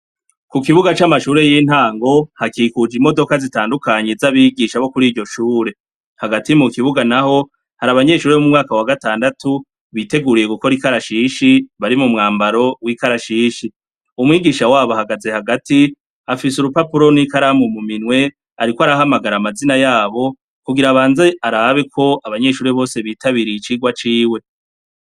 Ku kibuga c'amashuri y'intango hakikuj' imodoka zitandukanye z'abigisha bo kur' iryoshure, hagati mu kibuga naho har' abanyeshuri bo mu mwaka wa gatandatu biteguriye gukor' ikarashishi bari mu mwambaro w'ikarashishi, umwigisha wab' ahagaze hagat' afis' urupapuro n'ikaramu mu minw' arik' arahamagar' amazina yabo, kugir' abanz' arabe k' abanyeshuri bose bitabiriy' icirwa ciwe; hakikujwe n' ibiti bitotahaye hasi har' amabuye.